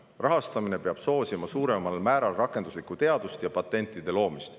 Rahastamine peab soosima suuremal määral rakenduslikku teadust ja patentide loomist.